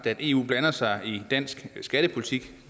at eu blander sig i dansk skattepolitik